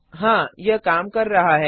हाँ यह काम कर रहा है